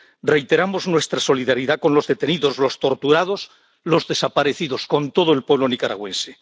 Reiteramos nuestra solidaridad con los detenidos, los torturados, los desaparecidos, con todo el pueblo nicaragüense.